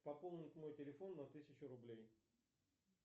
пополнить мой телефон на тысячу рублей